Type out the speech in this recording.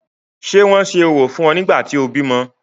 Ṣé wọn ṣe orò fún ọ nígbà tí o bímọ?